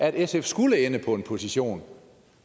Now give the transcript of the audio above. at sf skulle ende med en position